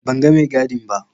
Ban ga mai gadin ba.